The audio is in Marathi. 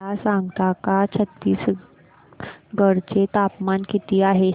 मला सांगता का छत्तीसगढ चे तापमान किती आहे